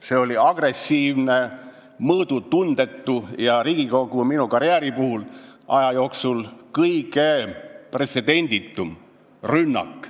See oli agressiivne, mõõdutundetu ja minu Riigikogu karjääri jooksul kõige pretsedenditum rünnak.